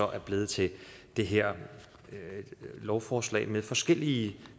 er blevet til det her lovforslag med forskellige